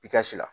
I ka si la